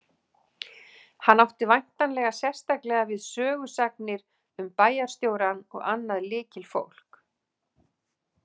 Hann átti væntanlega sérstaklega við sögusagnir um bæjarstjórann og annað lykilfólk.